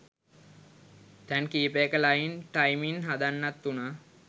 තැන් කීපයක line timing හදන්නත් වුනා